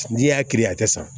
N'i y'a kiiri a tɛ san